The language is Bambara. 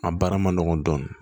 A baara ma nɔgɔn dɔɔnin